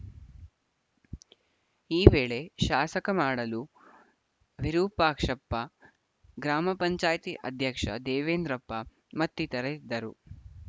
ಈ ವೇಳೆ ಶಾಸಕ ಮಾಡಳು ವಿರೂಪಾಕ್ಷಪ್ಪ ಗ್ರಾಮ ಪಂಚಾಯತಿ ಅಧ್ಯಕ್ಷ ದೇವೆಂದ್ರಪ್ಪ ಮತ್ತಿತರರಿದ್ದರು